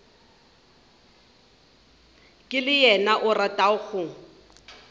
le yena o rata go